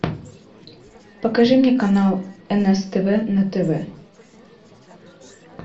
покажи мне канал нс тв на тв